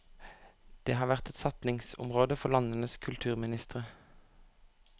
Det har vært et satsingsområde for landenes kulturministre.